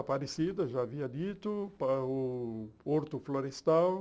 Aparecida, já havia dito, para o Porto Florestal.